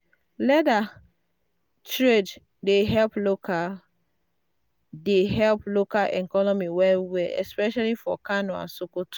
leather trade dey help local dey help local economy well well especially for kano and sokoto.